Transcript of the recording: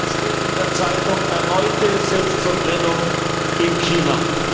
Heute steht in der Zeitung Erneute Selbstverbrennung in China.